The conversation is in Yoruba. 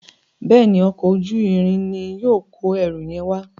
Béèni Ọkọ̀ ojú-irin ní yóò kọ ẹrù yen wá.